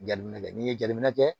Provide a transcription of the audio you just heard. Jateminɛ kɛ n'i ye jateminɛ kɛ